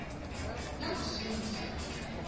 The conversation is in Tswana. ya bosiamisi ya ngwana e